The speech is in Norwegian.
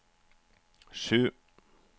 sju